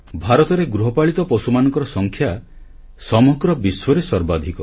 ଭାରତରେ ଗୃହପାଳିତ ପଶୁମାନଙ୍କର ସଂଖ୍ୟା ସମଗ୍ର ବିଶ୍ୱରେ ସର୍ବାଧିକ